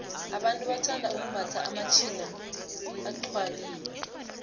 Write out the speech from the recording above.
abantu bathanda ukumbatha amatjhila aqwaliwe